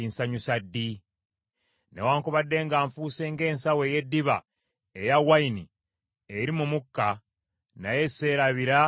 Newaakubadde nga nfuuse ng’ensawo ey’eddiba, eya wayini eri mu mukka , naye seerabira bye walagira.